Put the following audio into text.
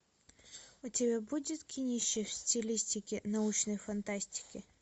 у тебя будет кинище в стилистике научной фантастики